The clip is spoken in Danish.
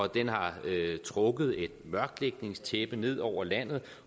den har trukket et mørklægningstæppe ned over landet